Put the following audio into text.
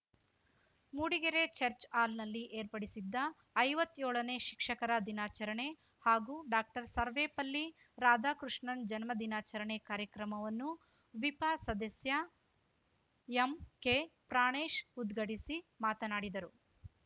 Mudigere church ಹಾಲ್‌ನಲ್ಲಿ ಏರ್ಪಡಿಸಿದ್ದ ಐವತ್ತ್ಯೋಳನೇ ಶಿಕ್ಷಕರ ದಿನಾಚರಣೆ ಹಾಗೂ ಡಾಕ್ಟರ್ಸರ್ವೇಪಲ್ಲಿ ರಾಧಾಕೃಷ್ಣನ್‌ ಜನ್ಮ ದಿನಾಚರಣೆ ಕಾರ್ಯಕ್ರಮವನ್ನು ವಿಪ ಸದಸ್ಯ ಎಂಕೆ ಪ್ರಾಣೇಶ್‌ ಉದ್ಘಟಿಸಿ ಮಾತನಾಡಿದರು